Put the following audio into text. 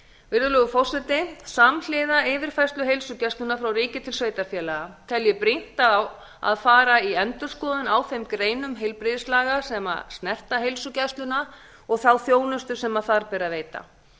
virðulegur forseti samhliða yfirfærslu heilsugæslunnar frá ríki til sveitarfélaga tel ég brýnt að fara í endurskoðun á þeim greinum heilbrigðislaga sem snerta heilsugæsluna og þá þjónustu sem þar ber að veita